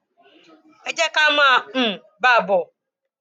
ẹ jẹ ká máa um bá a bọ